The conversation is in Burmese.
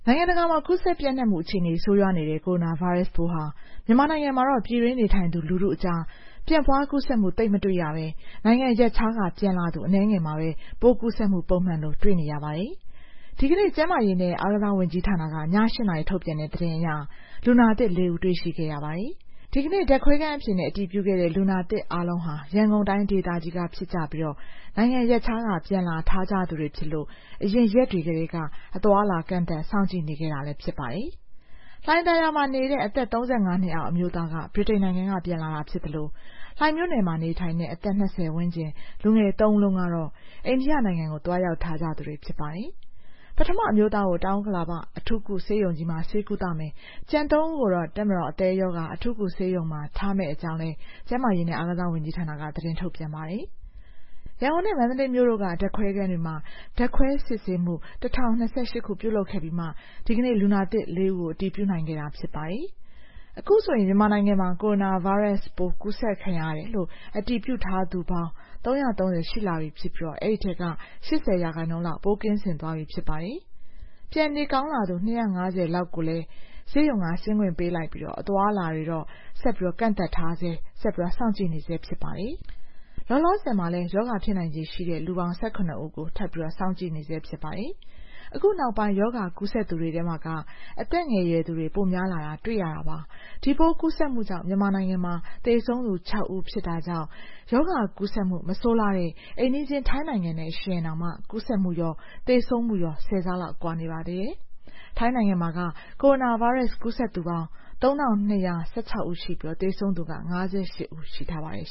ိုင်ငံတကာမှာ ကူးစက်ပျံ့နှံ့မှု အခြေအနေ ဆိုးရွားနေတဲ့ ကိုရိုနာဗိုင်းရပ်စ်ပိုးဟာ မြန်မာနိုင်ငံမှာတော့ ပြည်တွင်းနေထိုင်သူ လူထုအကြား ပြန့်ပွားကူးစက်မှု သိပ်မတွေ့ရဘဲ နိုင်ငံရပ်ခြားက ပြန်လာသူ အနည်းငယ်မှာပဲ ပိုးကူးစက်မှု ပုံမှန်လို တွေ့နေရပါတယ်။ ဒီကနေ့ ကျန်းမာရေးနဲ့ အားကစားဝန်ကြီးဌာနက ည ၈ နာရီ ထုတ်ပြန်တဲ့ သတင်းအရ လူနာသစ် ၄ ဦး တွေ့ရှိရပါတယ်။ ဒီကနေ့ ဓာတ်ခွဲခန်းအဖြေနဲ့ အတည်ပြုခဲ့တဲ့ လူနာသစ်အားလုံးဟာ ရန်ကုန်တိုင်းဒေသကြီးက ဖြစ်ကြပြီး နိုင်ငံရပ်ခြားက ပြန်လာထားကြသူတွေဖြစ်လို့ အရင်ရက်တွေကတည်းက အသွားအလာ ကန့်သတ် စောင့်ကြည့်နေခဲ့တာလည်း ဖြစ်ပါတယ်။ လှိုင်သာယာမှာနေတဲ့ အသက် ၃၅ နှစ်အောက် အမျိုးသားက ဗြိတိန်နိုင်ငံက ပြန်လာတာဖြစ်သလို လှိုင်မြို့နယ်မှာနေထိုင်တဲ့ အသက် ၂၀ ဝန်းကျင် လူငယ်သုံးဦးလုံးကတော့ အိန္ဒိယနိုင်ငံကို သွားရောက်ထားသူတွေ ဖြစ်ပါတယ်။ ပထမအမျိုးသားကို တောင်ဥက္ကလာပ အထူးကုဆေးရုံကြီးမှာ ဆေးကုသမယ်၊ ကျန်သုံးဦးကို တပ်မတော် အသည်းရောဂါ အထူးကုဆေးရုံကြီးမှာ ထားမယ့်အကြောင်းလည်း ကျန်းမာရေးနဲ့ အားကစားဝန်ကြီးဌာနက သတင်းထုတ်ပြန်ပါတယ်။ ရန်ကုန်နဲ့ မန္တလေးမြို့တို့က ဓာတ်ခွဲခန်းတွေမှာ ဓာတ်ခွဲစစ်ဆေးမှု ၁,၀၂၈ ခု ပြုလုပ်ခဲ့ပြီးမှ ဒီကနေ့ လူနာသစ် ၄ ဦးကို အတည်ပြုနိုင်ခဲ့တာ ဖြစ်ပါတယ်။ အခုဆိုရင် မြန်မာနိုင်ငံမှာ ကိုရိုနာဗိုင်းရပ်စ်ပိုး ကူးစက်ခံရတယ်လို့ အတည်ပြုထားသူပေါင်း ၃၃၀ ရှိလာပြီဖြစ်ပြီး အဲဒီထဲက ၈၀ ရာခိုင်နှုန်းလောက် ပိုးကင်းစင်သွားပြီ ဖြစ်ပါတယ်။ နေပြန်ကောင်းလာသူ ၂၅၀ လောက်ကိုလည်း ဆေးရုံက ဆင်းခွင့်ပေးလိုက်ပြီး အသွားအလာတွေတော့ ဆက်ကန့်သတ်ထားဆဲ ဆက်စောင့်ကြည့်နေဆဲ ဖြစ်ပါတယ်။ လောလောဆယ်မှာ ရောဂါဖြစ်နိုင်ခြေရှိတဲ့ လူပေါင်း ၁၇ ဦးကို စောင့်ကြည့်နေဆဲ ဖြစ်ပါတယ်။ အခုနောက်ပိုင်း ရောဂါကူးစက်သူတွေထဲမှာ အသက်ငယ်ရွယ်သူတွေ ပိုများလာတာ တွေ့ရတာပါ။ ဒီပိုးကူးစက်မှုကြောင့် မြန်မာနိုင်ငံမှာ သေဆုံးသူ ၆ ဦး ဖြစ်တာကြောင့် ရောဂါကူးစက်မှု မဆိုးလှတဲ့ အိမ်နီးချင်း ထိုင်းနိုင်ငံနဲ့ ယှဉ်ရင်တောင် ကူးစက်မှုရော သေဆုံးမှုရောမှာ ၁၀ ဆလောက် ကွာပါတယ်။ ထိုင်းနိုင်ငံမှာ ကိုရိုနာဗိုင်းရပ်စ် ကူးစက်သူပေါင်း ၃,၂၁၆ ဦးရှိပြီး သေဆုံးသူက ၅၈ ဦး ရှိထားပါတယ်